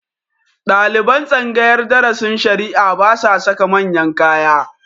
Ɗaliban tsangayar darasin shari'a ba sa saka manyan kaya